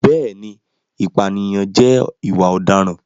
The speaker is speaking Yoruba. Bẹ́ẹ̀ni, ìpànìyàn jẹ́ ìwà ọ̀daràn.